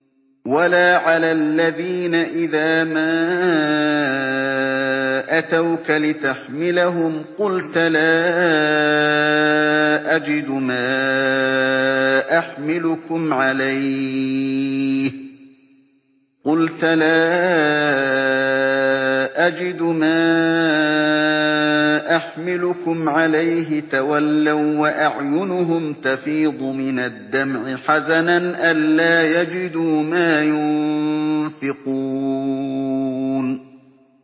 وَلَا عَلَى الَّذِينَ إِذَا مَا أَتَوْكَ لِتَحْمِلَهُمْ قُلْتَ لَا أَجِدُ مَا أَحْمِلُكُمْ عَلَيْهِ تَوَلَّوا وَّأَعْيُنُهُمْ تَفِيضُ مِنَ الدَّمْعِ حَزَنًا أَلَّا يَجِدُوا مَا يُنفِقُونَ